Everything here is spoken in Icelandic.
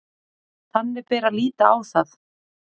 Þannig bera að líta á það